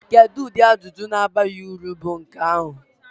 Kedu ụdị ajụjụ na-abaghị uru bụ nke ahụ?